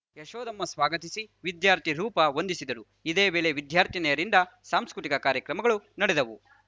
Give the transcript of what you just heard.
ಯಶೋದಮ್ಮ ಸ್ವಾಗತಿಸಿ ವಿದ್ಯಾರ್ಥಿ ರೂಪಾ ವಂದಿಸಿದರು ಇದೇ ವೇಳೆ ವಿದ್ಯಾರ್ಥಿನಿಯರಿಂದ ಸಾಂಸ್ಕೃತಿಕ ಕಾರ್ಯಕ್ರಮಗಳು ನಡೆದವು